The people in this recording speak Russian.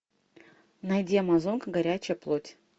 найди амазонка горячая плоть